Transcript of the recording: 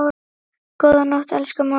Góða nótt, elsku mamma mín.